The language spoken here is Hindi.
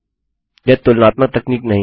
यह तुलनात्मक तकनीक नहीं है